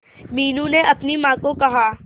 मीनू ने अपनी मां को कहा